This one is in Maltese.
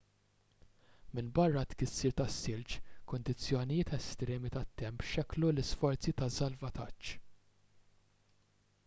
minbarra t-tkissir tas-silġ kundizzjonijiet estremi tat-temp xekklu l-isforzi ta' salvataġġ